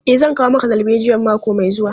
E, zan kawo maka darbejiyan mako mai zuwa.